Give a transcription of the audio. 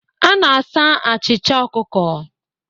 A na-asa achịcha ọkụkọ